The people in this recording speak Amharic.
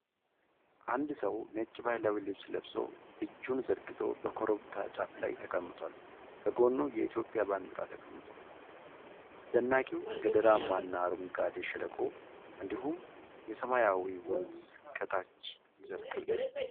አንድ ሰው ነጭ ባህላዊ ልብስ ለብሶ፣ እጁን ዘርግቶ በኮረብታ ጫፍ ላይ ተቀምጧል። ከጎኑ የኢትዮጵያ ባንዲራ ተቀምጧል። አስደናቂው ገደላማና አረንጓዴው ሸለቆ እንዲሁም የሰማያዊው ወንዝ ከታች ይዘልቃሉ።